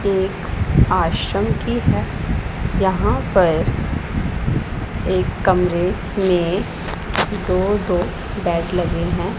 एक आश्रम की है यहां पर एक कमरे में दो दो बेड लगे हैं।